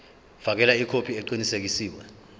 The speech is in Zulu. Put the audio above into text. fakela ikhophi eqinisekisiwe